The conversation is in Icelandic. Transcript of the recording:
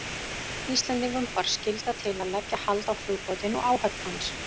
Íslendingum bar skylda til að leggja hald á flugbátinn og áhöfn hans.